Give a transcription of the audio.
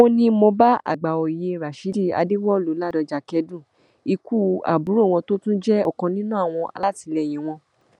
ó ní mo bá àgbàòye rashidi adéwọlú ládọjá kẹdùn ikú àbúrò wọn tó tún jẹ ọkan nínú àwọn alátìlẹyìn wọn